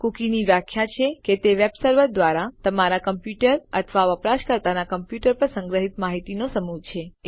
કૂકીની વ્યાખ્યા છે કે તે વેબ સર્વર દ્વારા તમારા કમ્પ્યુટર અથવા વપરાશકર્તાના કમ્પ્યુટર પર સંગ્રહિત માહિતીનો સમૂહ છે